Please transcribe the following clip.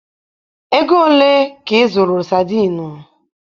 Ego ole ka ị zụrụ sadinu?